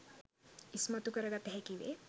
ඉස්මතු කර ගත හැකිවේ